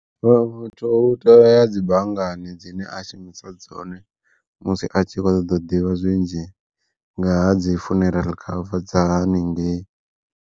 U tea uya dzi banngani dzine a shumisa dzone, musi a tshi kho ḓo ḓivha zwinzhi nga ha dzi funeral cover dza haningei.